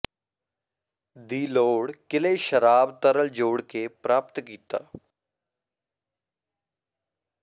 ਦੀ ਲੋੜ ਕਿਲੇ ਸ਼ਰਾਬ ਤਰਲ ਜੋੜ ਕੇ ਪ੍ਰਾਪਤ ਕੀਤਾ